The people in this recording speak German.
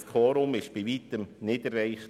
Das Quorum wurde bei Weitem nicht erreicht.